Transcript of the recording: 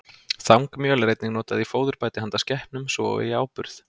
Þangmjöl er einnig notað í fóðurbæti handa skepnum, svo og í áburð.